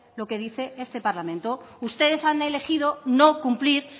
lo que dice este parlamento ustedes han elegido no cumplir